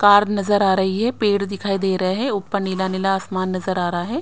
Car नजर आ रही है। पेड़ दिखाई दे रहे हैं। ऊपर नीला-नीला आसमान नजर आ रहा है।